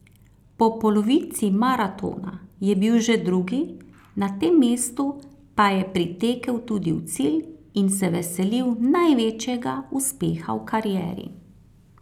Po polovici maratona je bil že drugi, na tem mestu pa je pritekel tudi v cilj in se veselil največjega uspeha v karieri.